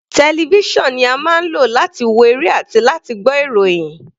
Television ni a máa ń lò láti wo eré àti láti gbọ́ ìròhìn.